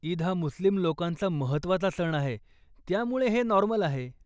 ईद हा मुस्लिम लोकांचा महत्वाचा सण आहे, त्यामुळे हे नॉर्मल आहे.